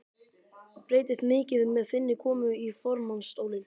Breytist mikið með þinni komu í formannsstólinn?